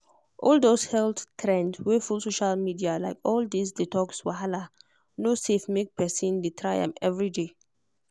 all those health trends wey full social media like all this detox wahala no safe make person dey try am everyday.